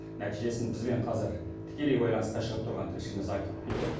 нәтижесін бізбен қазір тікелей байланысқа шығып тұрған тілшіміз айтып береді